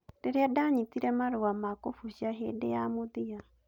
Rĩrĩa ndanyitire marũa ma kũbucia hĩndĩ ya mũthia